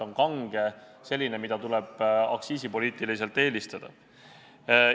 Mis ajast tuleb kanget alkoholi aktsiisipoliitiliselt eelistada?